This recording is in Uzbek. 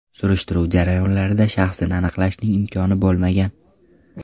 Surishtiruv jarayonlarida shaxsini aniqlashning imkoni bo‘lmagan.